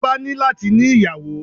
Ọba ní láti ní ìyàwó.